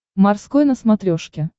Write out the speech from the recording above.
морской на смотрешке